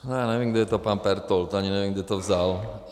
Já nevím, kdo je to pan Pertold, ani nevím, kde to vzal.